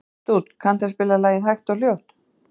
Dúnn, kanntu að spila lagið „Hægt og hljótt“?